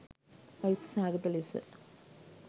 අයුක්ති සහගත ලෙස